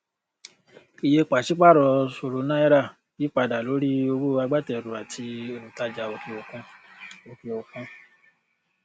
iye pàṣípàrọ ṣòro náírà yípadà lórí ọwọ agbátẹrù àti olùtajà òkè òkun òkè òkun